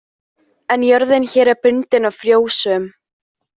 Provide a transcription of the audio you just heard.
En jörðin hér er bundin og frjósöm.